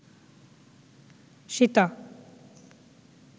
Sita